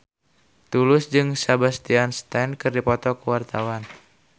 Tulus jeung Sebastian Stan keur dipoto ku wartawan